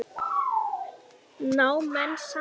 Ná menn saman?